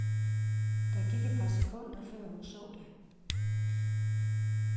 Der gik et par sekunder, før hun så det.